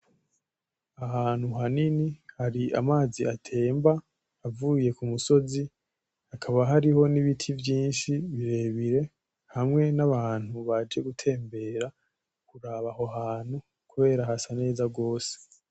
Ahantu hanini hari amazi atemba avuye kumusozi hakaba hariho nibiti vyinshi birebire hamwe n'abantu baje gutembera kuraba aho hantu kubera hasa newa gose.